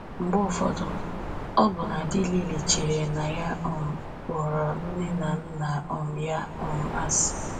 Mgbe ụfọdụ, ọbụna dị Lily chere na ya um kpọrọ nne na nna um ya um asị